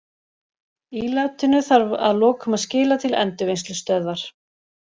Ílátinu þarf að lokum að skila til endurvinnslustöðvar.